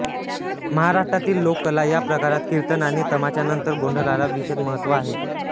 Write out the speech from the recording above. महाराष्ट्रातील लोककला या प्रकारात कीर्तन आणि तमाशानंतर गोंधळाला विशेष महत्त्व आहे